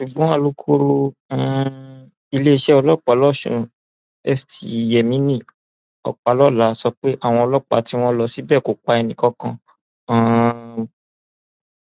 ṣùgbọn alūkkoro um iléeṣẹ ọlọpàá lọsùn st yemini ọpàlọlá sọ pé àwọn ọlọpàá tí wọn lọ síbẹ kò pa ẹnìkankan um